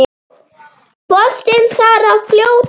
Boltinn þar að fljóta.